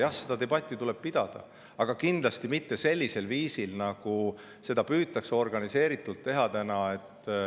Jah, seda debatti tuleb pidada, aga kindlasti mitte sellisel viisil, nagu seda püütakse organiseeritult teha.